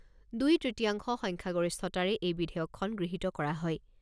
দুই তৃতীয়াংশ সংখ্যাগৰিষ্ঠতাৰে এই বিধেয়কখন গৃহীত কৰা হয়।